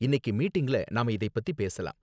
இன்னிக்கு மீட்டிங்ல நாம இதைப் பத்தி பேசலாம்.